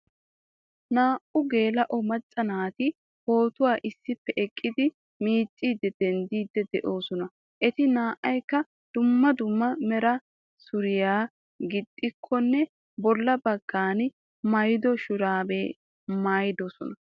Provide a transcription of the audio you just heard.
Naa''u geela'o macca naati pootuwa issippe eqqidi miicciiddi denddiidde de'oosana. Eti naa'ykka dumma dumma mera suriya gixxikkonne bolla baggan maayido shuraabiya maayidosona.